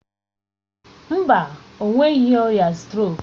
Mba, o nweghị ọrịa strok.